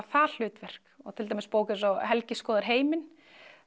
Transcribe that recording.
það hlutverk og til dæmis bók eins og Helgi skoðar heiminn